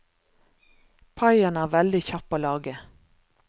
Paien er veldig kjapp å lage.